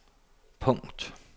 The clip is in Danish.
punkt